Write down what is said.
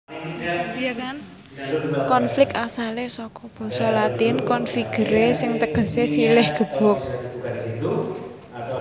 Konflik asalé saka basa Latin configere sing tegesé silih gebuk